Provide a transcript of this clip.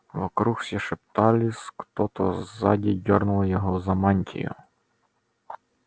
вокруг все шептались кто-то сзади дёрнул его за мантию